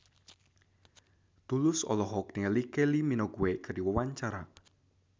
Tulus olohok ningali Kylie Minogue keur diwawancara